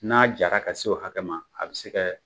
N'a jara ka se o hakɛ ma a bɛ se ka